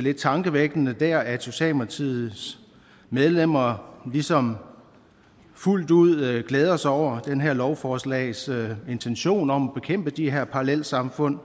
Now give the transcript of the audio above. lidt tankevækkende der at socialdemokratiets medlemmer ligesom fuldt ud glæder sig over det her lovforslags intentioner om at bekæmpe de her parallelsamfund